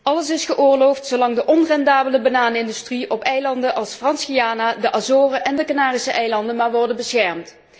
Alles is geoorloofd, zolang de onrendabele bananenindustrie op eilanden als Frans Guyana, de Azoren en de Canarische eilanden maar wordt beschermd.